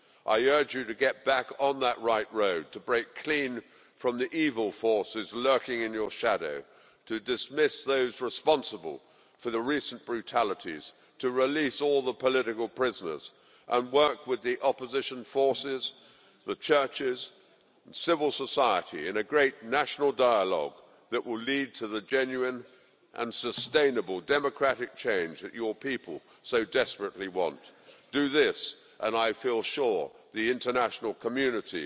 I urge you to get back on that right road, to break clean from the evil forces lurking in your shadow, to dismiss those responsible for the recent brutalities, to release all the political prisoners and work with the opposition forces, the churches and civil society in a great national dialogue that will lead to the genuine and sustainable democratic change that your people so desperately want. Do this and I feel sure the international community